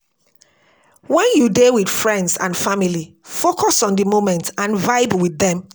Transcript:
When you dey with friends and family, focus on di moment and vibe with dem